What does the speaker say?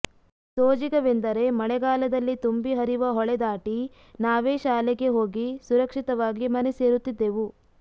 ಸೋಜಿಗವೆಂದರೆ ಮಳೆ ಗಾಲದಲ್ಲಿ ತುಂಬಿ ಹರಿವ ಹೊಳೆ ದಾಟಿ ನಾವೇ ಶಾಲೆಗೆ ಹೋಗಿ ಸುರಕ್ಷಿತವಾಗಿ ಮನೆ ಸೇರುತಿದ್ದೆವು